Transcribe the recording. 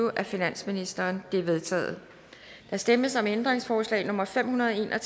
af finansministeren de er vedtaget der stemmes om ændringsforslag nummer fem hundrede og